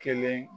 Kelen